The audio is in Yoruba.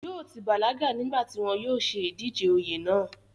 yóò ti bàlágà nígbà tí wọn yóò ṣe ìdíje oyè náà